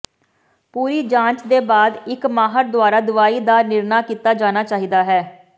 ਪੂਰੀ ਜਾਂਚ ਦੇ ਬਾਅਦ ਇੱਕ ਮਾਹਰ ਦੁਆਰਾ ਦਵਾਈ ਦਾ ਨਿਰਣਾ ਕੀਤਾ ਜਾਣਾ ਚਾਹੀਦਾ ਹੈ